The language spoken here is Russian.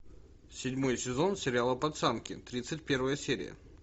седьмой сезон сериала пацанки тридцать первая серия